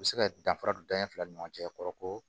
U bɛ se ka danfara donya fila ni ɲɔgɔn cɛ kɔrɔ ko